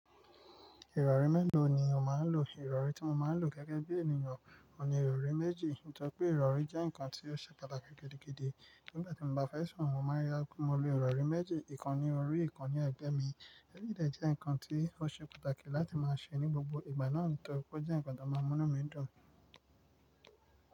Ìrọ̀rí mélòó ni o máa ń lò? Ìrọ̀rí tí mo máa ń lò gẹ́gẹ́ bí ènìyàn, òun ni ìrọ̀rí méjì. Nítorí pé ìrọ̀rí jẹ́ nǹkan tí ó ṣe pàtàkì gidigidi. Nígbà tí mo bá fẹ́ sùn, mo máa ń rí dájú pé mo lo ìrọ̀rí méjì; ìkan ní orí, ìkan ní ẹ̀gbẹ́ mi. Ẹ́ yii jẹ́ nǹkan tí ó ṣe pàtàkì láti máa ṣe ní gbogbo ìgbà náà, nítorí pé ó jẹ́ ǹkan tó máa mú ọ̀nà mi dùn.